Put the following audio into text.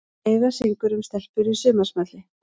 Heiða syngur um stelpur í sumarsmelli